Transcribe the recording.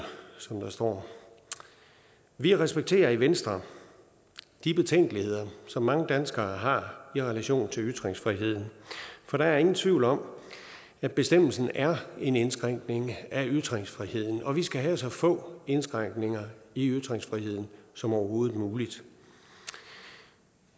som der står vi respekterer i venstre de betænkeligheder som mange danskere har i relation til ytringsfriheden for der er ingen tvivl om at bestemmelsen er en indskrænkning af ytringsfriheden og vi skal have så få indskrænkninger i ytringsfriheden som overhovedet muligt